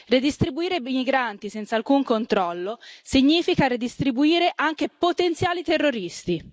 Redistribuire i migranti senza alcun controllo significa redistribuire anche potenziali terroristi.